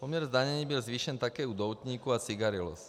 Poměr zdanění byl zvýšen také u doutníků a cigaret.